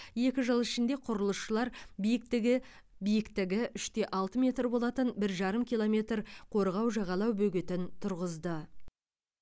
екі жыл ішінде құрылысшылар биіктігі биіктігі үш те алты метр болатын бір жарым километр қорғау жағалау бөгетін тұрғызды